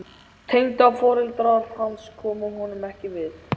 Tengdaforeldrar hans komu honum ekki við.